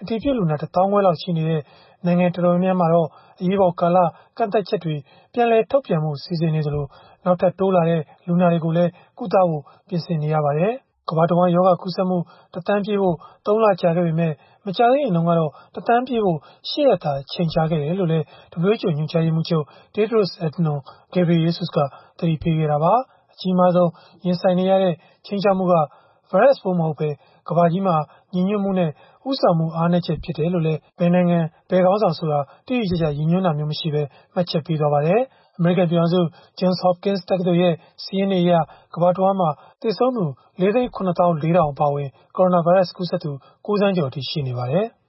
အတည်ပြုလူနာ ၁၅,၀၀၀ ခွဲလောက်ရှိနေတဲ့ နိုင်ငံတော်တော်များများမှာတော့ အရေးပေါ်ကာလ ကန့်သတ်ချက်တွေ ပြန်လည်ထုတ်ပြန်ဖု့ိ စီစဉ်နေသလို နောက်ထပ်တိုးလာတဲ့ လူနာတွေကို ကုသဖို့လည်း ပြင်ဆင်နေရပါတယ်။ အစောပိုင်းက ကမ္ဘာတဝန်း ရောဂါကူးစက်မှု ၁,၀၀၀,၀၀၀ ပြည့်ဖို့ ၃ လကြာခဲ့ပေမဲ့ မကြာသေးခင်ကတော့ ၁,၀၀၀,၀၀၀ ပြည့်ဖို့ ၈ ရက်သာ ကြာခဲ့တယ်လို့လည်း WHO ညွှန်ကြားရေးမှူးချုပ် Tedros Adhanom Ghebreyesus က သတိပေးခဲ့တာပါ။ အကြီးမားဆုံး ရင်ဆိုင်နေရတဲ့ ခြိမ်းခြောက်မှုက ဗိုင်းရပ်စ်ပိုးမဟုတ်ဘဲ ကမ္ဘာကြီးမှာ ညီညွှတ်မှုနဲ့ ဦးဆောင်မှု အားနည်းချက် ဖြစ်တယ်လို့လည်း ဘယ်နိုင်ငံ၊ ဘယ်ခေါင်းဆောင်ဆိုတာကို တိတိကျကျ ရည်ညွှန်းတာမျိုး မရှိဘဲ မှတ်ချက်ပေးခဲ့ပါတယ်။ အမေရိကန် ပြည်ထောင်စု Johns Hopkins တက္ကသိုလ်ရဲ့ စာရင်းတွေအရ ကမ္ဘာတဝန်းမှာ သေဆုံးသူ ၄၇၄,၀၀၀ အပါအဝင် ကိုရိုနာဗိုင်းရပ်စ် ကူးစက်သူ ၉,၀၀၀,၀၀၀ ကျော်အထိ ရှိနေပါတယ်။